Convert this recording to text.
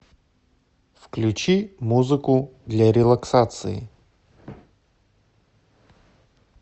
включи музыку для релаксации